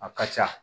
A ka ca